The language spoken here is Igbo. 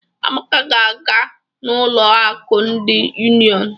Amaka ga-aga n'ụlọ akụ ndị Unionụ.